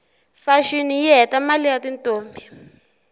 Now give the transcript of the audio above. fashini yihhetamaie yatintombi